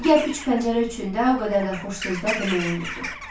Digər üç pəncərə üçün də o qədər də xoş sözlər demək olmurdu.